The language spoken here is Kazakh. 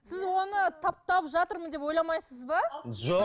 сіз оны таптап жатырмын деп ойламайсыз ба жоқ